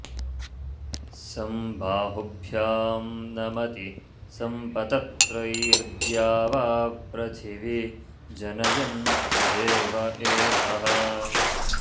सं बा॒हुभ्यां नम॑ति॒ सं पत॑त्रैर्द्यावा॑पृथि॒वी ज॒नय॑न् दे॒व एकः॒